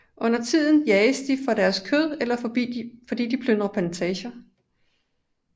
Undertiden jages de for deres kød eller fordi de plyndrer plantager